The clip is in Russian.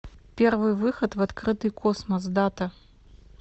первый выход в открытый космос дата